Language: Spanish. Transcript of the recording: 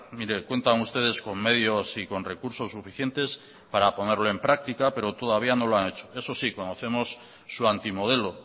mire cuentan ustedes con medios y con recursos suficientes para ponerlo en práctica pero todavía no lo han hecho eso sí conocemos su anti modelo